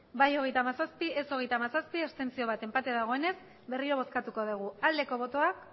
bai hogeita hamazazpi ez hogeita hamazazpi abstentzioak bat enpate dagoenez berriro bozkatuko dugu aldeko botoak